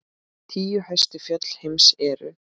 Tíu hæstu fjöll heims eru